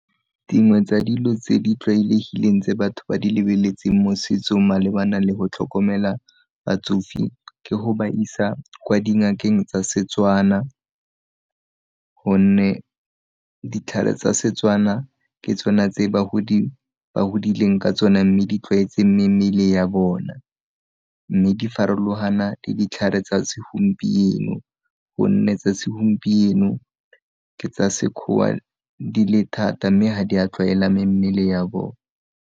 Dingwe tsa dilo tse di tlwaelegileng tse batho ba di lebeletseng mo setsong malebana le go tlhokomela batsofe, ke go ba isa kwa dingakeng tsa Setswana, gonne ditlhare tsa Setswana ke tsona tse bagodi ba godileng ka tsone mme di tlwaetse mmele ya bona, mme di farologana le ditlhare tsa segompieno gonne tsa segompieno ke tsa Sekgowa di le thata mme ga di a tlwaela mmele ya bona.